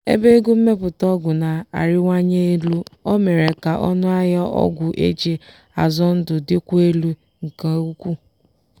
ebe ego mmepụta ọgwụ na-arịwanye elu o mere ka ọnụ ahịa ọgwụ eji azọ ndụ dịkwuo elu nke ukwuu.